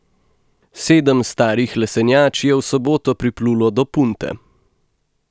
Sedem starih lesenjač je v soboto priplulo do Punte.